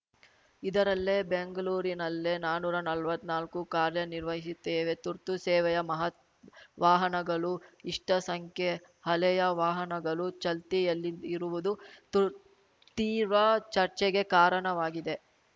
ಇದರಲ್ಲೇ ಬೆಂಗಳೂರಿನಲ್ಲೇ ನಾನುರಾ ನಲ್ವತ್ತನಾಲ್ಕು ಕಾರ್ಯ ನಿರ್ವಹಿಸುತ್ತೇವೆ ತುರ್ತು ಸೇವೆಯ ಮಹತ್ ವಾಹನಗಳೂ ಇಷ್ಟಸಂಖ್ಯೆ ಹಳೆಯ ವಾಹನಗಳು ಚಲ್ತಿಯಲ್ಲಿರುವುದು ತುರ್ ತೀರ್ವ ಚರ್ಚೆಗೆ ಕಾರಣವಾಗಿದೆ